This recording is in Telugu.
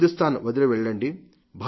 హిందుస్థాన్ వదిలివెళ్లండి